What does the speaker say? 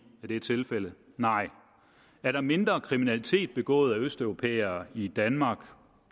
er tilfældet er der mindre kriminalitet begået af østeuropæere i danmark